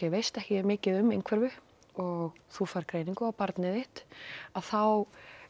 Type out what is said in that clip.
veist ekki mikið um einhverfu og þú færð greiningu á barnið þitt þá